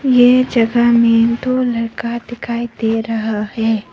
यह जगह में दो लड़का दिखाई दे रहा है।